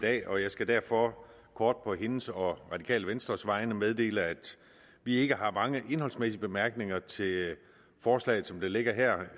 dag og jeg skal derfor kort på hendes og radikale venstres vegne meddele at vi ikke har mange indholdsmæssige bemærkninger til forslaget som det ligger her